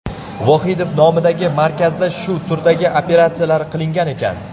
Vohidov nomidagi markazda shu turdagi operatsiyalar qilingan ekan.